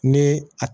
Ni a